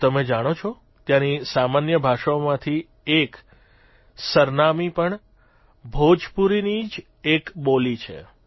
શું તમે જાણો છો ત્યાંની સામાન્ય ભાષાઓમાંથી એક સરનામિ પણ ભોજપુરીની જ એક બોલી છે